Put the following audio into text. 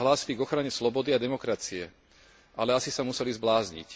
Vždy sa hlásili k ochrane slobody a demokracie, ale asi sa museli zblázniť.